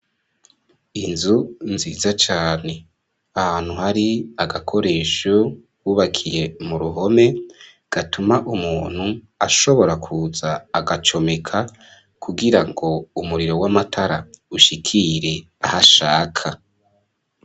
Inzu nziza cane, ahantu hari agakoresho, hubakiye mu ruhome, gatuma umuntu, ashobora kuza, agacomeka, kugira ngo umuriro w'amatara, ushikire aho ashaka.